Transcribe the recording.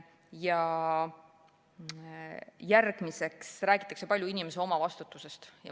Veel räägitakse palju inimese omavastutusest.